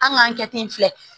An k'an kɛ ten filɛ